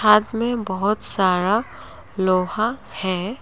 मे बहोत सारा लोहा है।